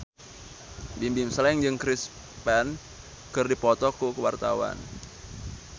Bimbim Slank jeung Chris Pane keur dipoto ku wartawan